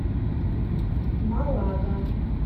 малага